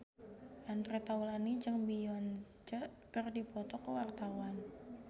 Andre Taulany jeung Beyonce keur dipoto ku wartawan